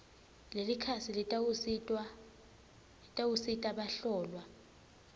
lelikhasi litawusita bahlolwa